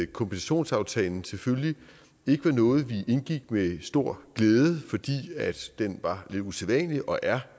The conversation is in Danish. kompensationsaftalen selvfølgelig ikke var noget vi indgik med stor glæde fordi den var lidt usædvanlig og er